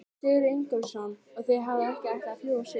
Sigurður Ingólfsson: Og þið hafið ekki ætlað að fljúga suður?